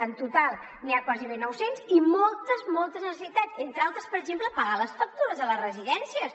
en total n’hi ha gairebé nou cents i moltes moltes necessitats entre altres per exemple pagar les factures a les residències